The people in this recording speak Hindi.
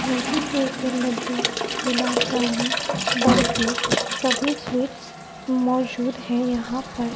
मोतीचूर के लड्डू गुलाब जामुन बर्फी सभी स्वीट्स मौजूद है यहां पर।